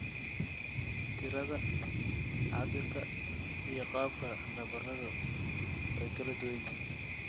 Tirada, cabbirka, iyo qaabka nabaradu way kala duwan yihiin.